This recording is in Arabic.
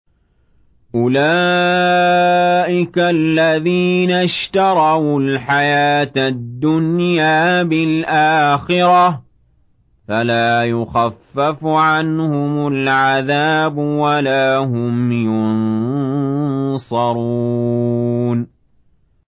أُولَٰئِكَ الَّذِينَ اشْتَرَوُا الْحَيَاةَ الدُّنْيَا بِالْآخِرَةِ ۖ فَلَا يُخَفَّفُ عَنْهُمُ الْعَذَابُ وَلَا هُمْ يُنصَرُونَ